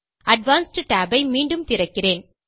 advanced tab ஐ மீண்டும் திறக்கிறேன்